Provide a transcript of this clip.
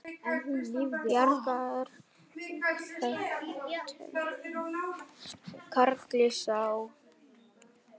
Bjargar höltum karli sá.